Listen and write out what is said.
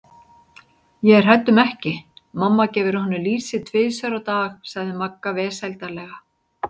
Ég er hrædd um ekki, mamma gefur honum lýsi tvisvar á dag sagði Magga vesældarlega.